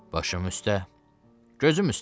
Başım üstə, gözüm üstə.